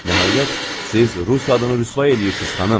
Nəhayət, siz rus adını rüsvay eləyirsiz, xanım.